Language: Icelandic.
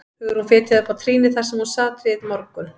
Hugrún fitjaði upp á trýnið þar sem hún sat við morgun